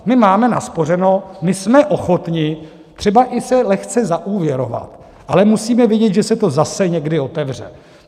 My máme naspořeno, my jsme ochotni třeba i se lehce zaúvěrovat, ale musíme vědět, že se to zase někdy otevře.